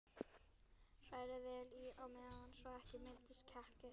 Hrærið vel í á meðan svo ekki myndist kekkir.